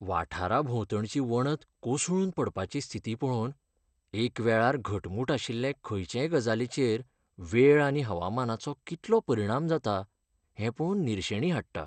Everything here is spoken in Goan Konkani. वाठाराभोंवतणची वणत कोसळून पडपाची स्थिती पळोवन, एकवेळार घटमूट आशिल्ले खंयचेय गजालीचेर वेळ आनी हवामानाचो कितलो परिणाम जाता हें पळोवप निरशेणी हाडटा.